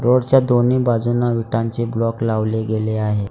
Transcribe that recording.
रोडच्या दोन्ही बाजूंना विटांचे ब्लॉक लावले गेले आहे.